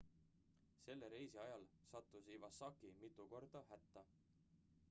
selle reisi ajal sattus iwasaki mitu korda hätta